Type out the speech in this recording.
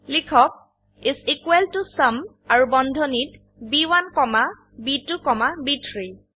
লিখক is equal to sum আৰু বন্ধনীত ব1 কমা ব2 কমা ব3